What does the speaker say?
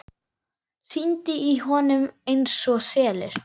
Syndi í honum einsog selur.